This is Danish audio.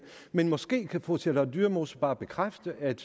man måske kan fru charlotte dyremose bare bekræfte at